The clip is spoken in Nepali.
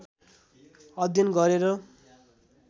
अध्ययन गरेर